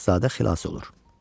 Şahzadə xilas olur.